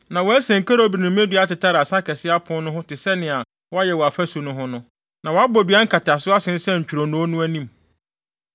Na wɔasen kerubim ne mmedua atetare asa kɛse apon no ho te sɛnea wɔayɛ wɔ afasu no ho no, na wɔabɔ dua nkataso asensɛn ntwironoo no anim.